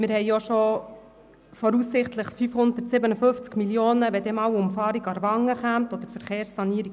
Wir haben auch schon voraussichtlich 557 Mio. Franken reserviert für die Umfahrung Aarwangen oder für die Verkehrssanierung